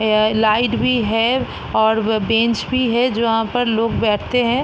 अ light भी है और ब-बेंच भी है जो वहाँ पर लोग बैठते हैं।